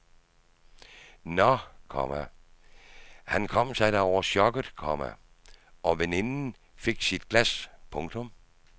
Nå, komma han kom sig da over chokket, komma og veninden fik sit glas. punktum